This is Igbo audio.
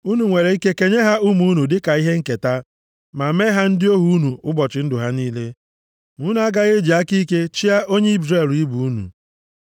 Unu nwere ike kenye ha ụmụ unu dịka ihe nketa, ma mee ha ndị ohu unu ụbọchị ndụ ha niile. Ma unu agaghị eji aka ike chịa onye Izrel ibe unu.